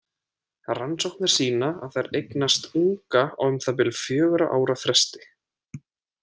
Rannsóknir sýna að þær eignast unga á um það bil fjögurra ára fresti.